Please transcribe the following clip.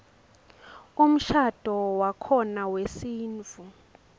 umshadvo wakhona wesintfu